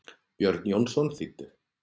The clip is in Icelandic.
Björn Jónsson þýddi.